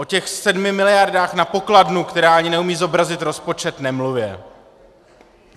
O těch sedmi miliardách na pokladnu, která ani neumí zobrazit rozpočet, nemluvě.